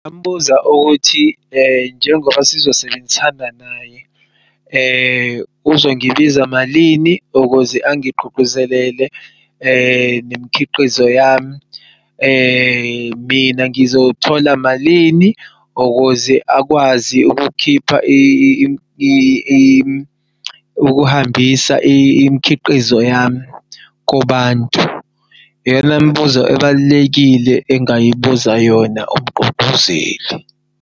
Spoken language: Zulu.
Ngambuza ukuthi njengoba sizosebenzisana naye uzongibiza malini ukuze angigqugquzelele nemikhiqizo yami. Mina ngizothola malini ukuze akwazi ukuhambisa imikhiqizo yami kubantu? Iyona mbuzo ebalulekile engayibuza yona umgqugquzeli.